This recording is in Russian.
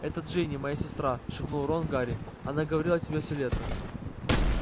это джинни моя сестра шепнул рон гарри она говорила о тебе все лето